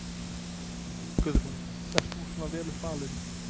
Guðrún: Ert þú svona vel upp alinn?